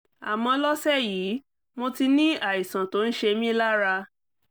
àmọ́ lọ́sẹ̀ yìí mo ti ní àìsàn tó ń ṣe mí lára